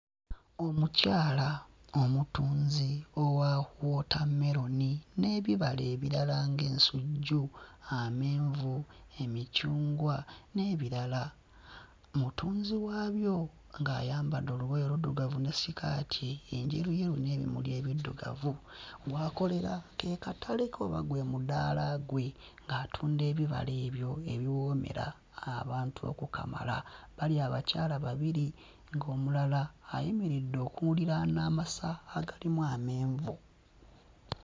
Omukyala omutunzi wa wootammeroni n'ebibala ebirala ng'ensujju, amenvu, emicungwa n'ebirala. Mutunzi waabyo ng'ayambadde olugoye oluddugavu ne sikaati enjeruyeru n'ebimuli ebiddugavu, w'akolera ke katale ke oba gwe mudaala gwe ng'atunda ebibala ebyo ebiwoomera abantu okukamala. Bali abakyala babiri ng'omulala ayimiridde okuliraana amasa agalimu amenvu.